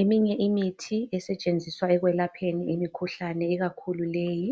Eminye imithi esetshenziswa ekwelapheni imikhuhlane ikakhulu leyi